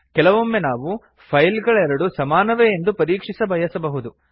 ಕೆಲವೊಮ್ಮೆ ನಾವು ಫೈಲ್ಗಳೆರಡು ಸಮಾನವೇ ಎಂದು ಪರೀಕ್ಷಿಸಬಯಸಬಹುದು